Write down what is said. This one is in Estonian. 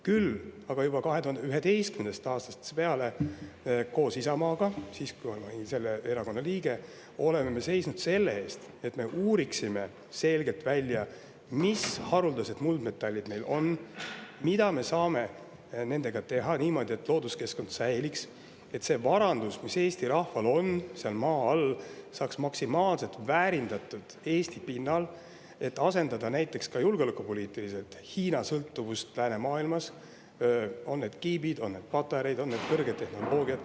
Küll aga olen juba 2011. aastast peale koos Isamaaga, sest siis ma olin selle erakonna liige, seisnud selle eest, et me uuriksime selgelt välja, mis haruldased muldmetallid meil on ja mida me saame nendega teha niimoodi, et looduskeskkond säiliks, et see varandus, mis Eesti rahval on seal maa all, saaks maksimaalselt väärindatud Eesti pinnal, et näiteks ka läänemaailma julgeolekupoliitiliselt Hiina-sõltuvust, pean silmas kiipe, patareisid ja kõrgtehnoloogiaid.